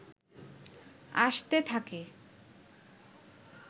আসতে থাকে